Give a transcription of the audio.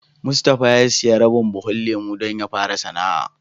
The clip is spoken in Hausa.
Mustapha ya siya rabin buhun lemu don ya fara sana'a.